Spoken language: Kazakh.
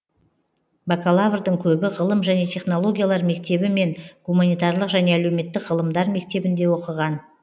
бакалаврдың көбі ғылым және технологиялар мектебі мен гуманитарлық және әлеуметтік ғылымдар мектебінде оқыған